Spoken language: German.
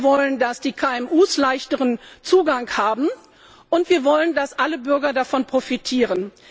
Wir wollen, dass die KMU leichteren Zugang haben, und wir wollen, dass alle Bürger davon profitieren.